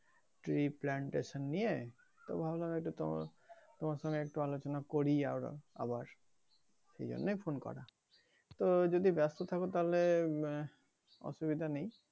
tree plantation নিয়ে তো ভাবলাম একটু তোমার তোমার সঙ্গে একটু আলোচনা করিই আবার আবার এই জন্যেই ফোন করা তো যদি ব্যস্ত থাকো তাহলে উম অসুবিধা নেই